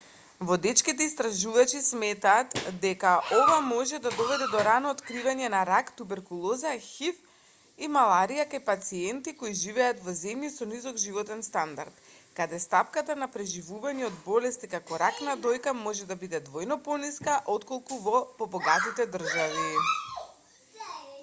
водечките истражувачи сметаат дека ова може да доведе до рано откривање на рак туберколоза хив и маларија кај пациенти кои живеат во земји со низок животен стандард каде стапката на преживување од болести како рак на дојка може да биде двојно пониска отколку во побогатите држави